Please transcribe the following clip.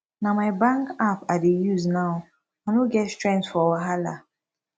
na my bank app i dey use now i no get strength for wahala